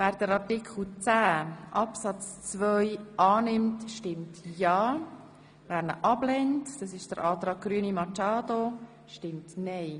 Wer Artikel 10 Absatz 2 annimmt, stimmt ja, wer ihn ablehnt – das entspricht dem Antrag Grüne, Machado –, stimmt nein.